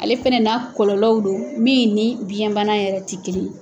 Ale fana na kɔlɔlɔw don min ni biyɛn bana yɛrɛ tɛ kelen ye.